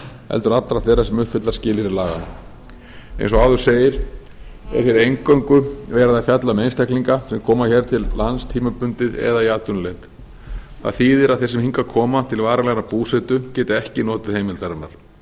heldur allra þeirra sem uppfylla skilyrði laganna eins og áður segir er hér eingöngu verið að fjalla um einstaklinga sem koma hér til lands tímabundið eða í atvinnuleit það þýðir að þeir sem hingað koma til varanlegrar búsetu geta ekki notið heimildarinnar